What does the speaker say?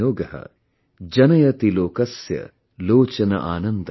जनयति लोकस्य लोचन आनन्दम